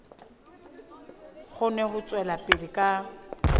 kgone ho tswela pele ka